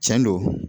Tiɲɛ don